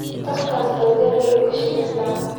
Qofkas baladhka aayu kashagestaa.